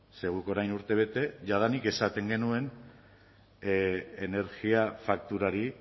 ze guk orain urtebete jadanik esaten genuen energia fakturari